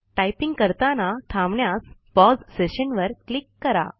typing करताना थांबण्यास pause session वर क्लिक करा